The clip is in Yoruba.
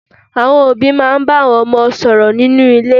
Àwọn òbí máa n bá àwọn ọmọ wọn sọ̀rọ̀ nínú ilé